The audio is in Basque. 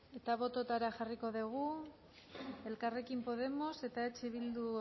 eta bototara jarriko dugu elkarrekin podemos eta eh bildu